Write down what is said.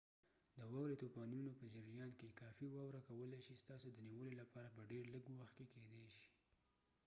د واورې طوفانونو په جریان کې کافي واوره کولی شي ستاسي د نیولو لپاره په ډیر لږ وخت کې کیدی شي